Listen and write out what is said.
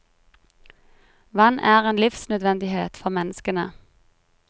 Vann er en livsnødvendighet for menneskene.